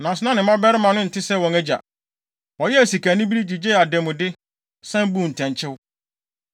Nanso na ne mmabarima no nte sɛ wɔn agya. Wɔyɛɛ sikanibere, gyigyee adanmude, san buu ntɛnkyew.